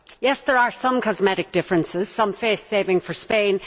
Yes, there are some cosmetic differences and some face saving for Spain.